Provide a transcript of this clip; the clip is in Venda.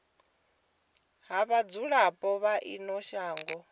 ha vhadzulapo vha ino shango